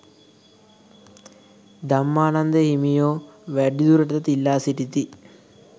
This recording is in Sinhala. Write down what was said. ධම්මානන්ද හිමියෝ වැඩිදුරටත් ඉල්ලා සිටිති.